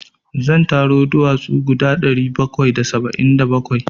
Zan taro duwatsu guda ɗari bakwai da saba'in da bakwai.